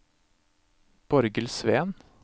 Borghild Sveen